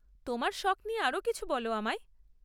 তোমার শখ নিয়ে আরও কিছু বল আমায়।